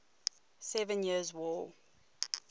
seven years war